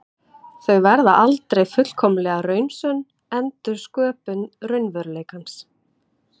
Þau verða aldrei fullkomlega raunsönn endursköpun raunveruleikans.